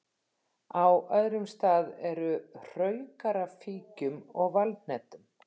Á öðrum stað eru hraukar af fíkjum og valhnetum.